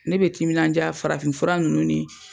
Ne bɛ timinanja farafin fura nunnu ni.